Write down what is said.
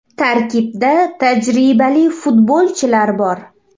Tarkibda tajribali futbolchilar bor.